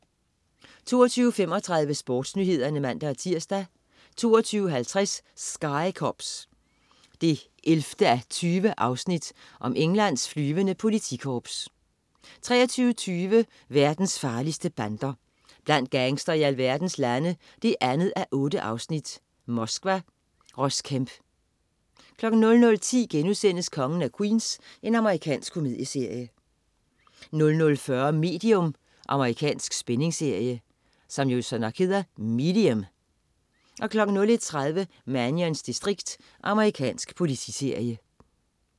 22.35 SportsNyhederne (man-tirs) 22.50 Sky Cops 11:20. Englands flyvende politikorps 23.20 Verdens farligste bander. Blandt gangstere i alverdens lande 2:8. Moskva. Ross Kemp 00.10 Kongen af Queens.* Amerikansk komedieserie 00.40 Medium. Amerikansk spændingsserie 01.30 Mannions distrikt. Amerikansk politiserie